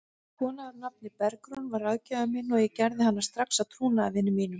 Kona að nafni Bergrún varð ráðgjafinn minn og ég gerði hana strax að trúnaðarvini mínum.